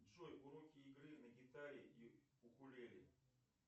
джой уроки игры на гитаре и укулеле